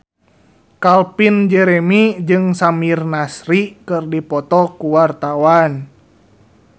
Calvin Jeremy jeung Samir Nasri keur dipoto ku wartawan